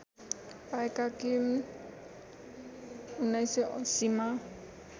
पाएका किम १९८०मा